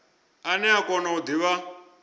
ane a kona u divha